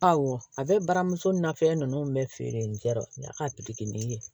Awɔ a bɛ baramuso ni na fɛn ninnu bɛ feere n tɛ a ka ye